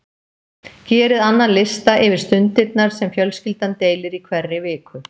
Gerið annan lista yfir stundirnar sem fjölskyldan deilir í hverri viku.